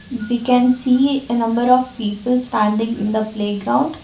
we can see a number of people standing in the playground.